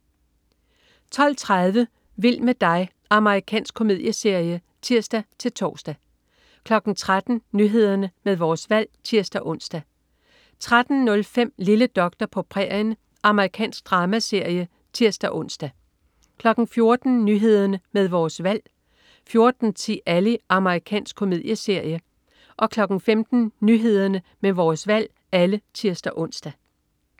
12.30 Vild med dig. Amerikansk komedieserie (tirs-tors) 13.00 Nyhederne med Vores Valg (tirs-ons) 13.05 Lille doktor på prærien. Amerikansk dramaserie (tirs-ons) 14.00 Nyhederne med Vores Valg (tirs-ons) 14.10 Ally. Amerikansk komedieserie (tirs-ons) 15.00 Nyhederne med Vores Valg (tirs-ons)